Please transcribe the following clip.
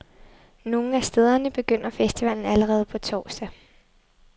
Nogle af stederne begynder festivalen allerede på torsdag.